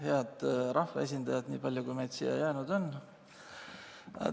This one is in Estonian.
Head rahvaesindajad, niipalju kui meid siia jäänud on!